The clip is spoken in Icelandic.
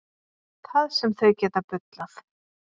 Það sem þau geta bullað.